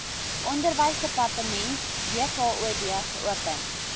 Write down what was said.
onderwysdepartement wkod geopen